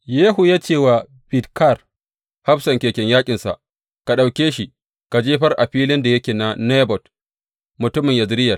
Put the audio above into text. Yehu ya ce wa Bidkar, hafsan keken yaƙinsa, Ka ɗauke shi ka jefar a filin da yake na Nabot mutumin Yezireyel.